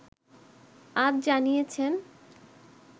আজ জানিয়েছেন